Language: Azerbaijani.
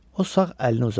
O sağ əlini uzatdı.